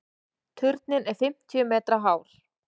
Turninn er fimmtíu metra hár.